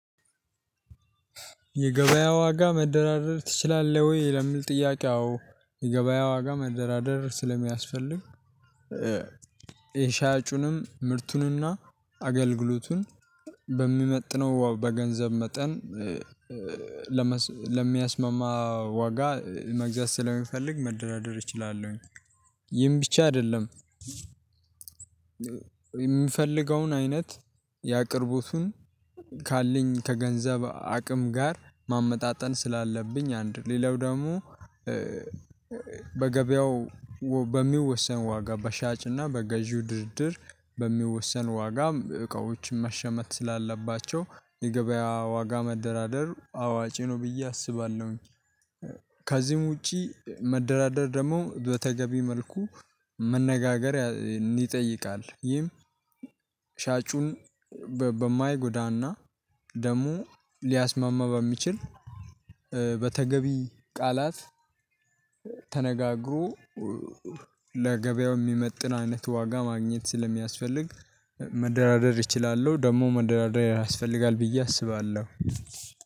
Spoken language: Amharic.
የገበያ ዋጋ መደራደር ትችላለህ ወይ? ለምል ጥያቄ አዎ የገበያ ዋጋ መደራደር ስለሚያስፈልግ የሻጩንም ምርቱንና አገልግሎቱን በሚመጥነው በገንዘብ መጠን ለሚያስማማ ዋጋ መግዛት ስለሚፈልግ መደራደር እችላለሁኝ። ይህም ብቻ አይደለም። የሚፈልገውን አይነት ያአቅርቦቱን ካለኝ ከገንዘብ አቅም ጋር ማመጣጠን ስላለብኝ አንድ ሌላው ደግሞ በገበያው በሚወሰን ዋጋ በሻጭና በገዢው ድርድር በሚወሰን ዋጋ እቃዎችን መሸመት ስላለባቸው የገበያ ዋጋ መደራደር አዋጪ ነው ብዬ አስባለሁኝ። ከዚህም ውጪ መደራደር ደግሞ በተገቢ መልኩ መነጋገር ይጠይቃል። ይህም ሻጩን በማይጎዳና ደግሞ ሊያስማማ ባሚችል በተገቢ ቃላት ተነጋግሮ ለገበያው የሚመጥን አይነት ዋጋ ማግኘት ስለሚያስፈልግ መደራደር እችላለሁ ደግሞ መደራደር ያስፈልጋል ብዬ አስባለሁ።